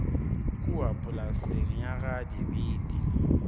kua polaseng ya ga dibete